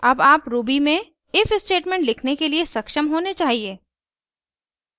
अब आप ruby में if स्टेटमेंट लिखने के लिए सक्षम होने चाहिए